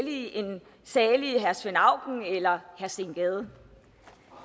salig herre svend auken eller herre steen gade